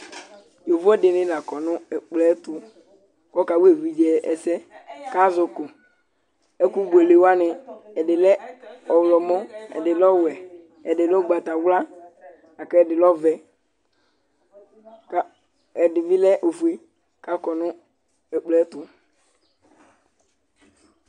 Yovo ɛdini la kɔ nʋ ɛkplɔ yɛ tʋ k'ɔka wa evidze ɛsɛ, k'az'bkʋ, ɛkʋ buelewani, ɛdi lɛ ɔyɔmɔ, ɛdi lɛ ɔwɛ, ɛdi lɛ ʋgbatawla, lak'ɛdi lɛ ɔvɛ, ka ɛdi bi lɛ ofue k'akɔ nʋ ɛkplɔ yɛ tʋ